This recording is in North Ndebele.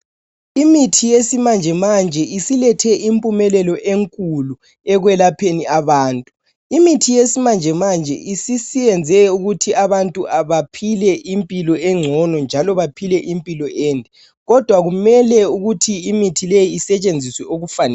Imithi yesimanje manje isilethe impumelelo enkulu ekwelapheni abantu. Imithi yesimanje manje isiyenze ukuthi abantu abaphile impilo engcono njalo baphile impilo ende kodwa kumele ukuthi imithi leyi isetshenziswe okufaneleyo.